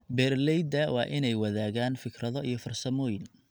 Beeralayda waa in ay wadaagaan fikrado iyo farsamooyin.